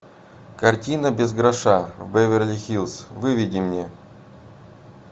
картина без гроша в беверли хиллз выведи мне